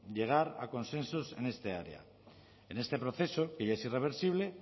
llegar a consensos en este área en este proceso que ya es irreversible